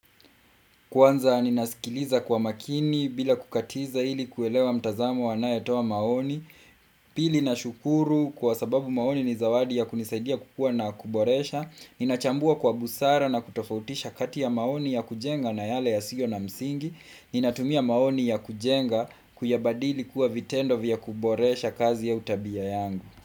Kwanza ninasikiliza kwa makini bila kukatiza ili kuelewa mtazamo anaye toa maoni, pili na shukuru kwa sababu maoni ni zawadi ya kunisaidia kukua na kuboresha, ninachambua kwa busara na kutofautisha kati ya maoni ya kujenga na yale ya siyo na msingi, ninatumia maoni ya kujenga kuyabadili kuwa vitendo vya kuboresha kazi au tabia yangu.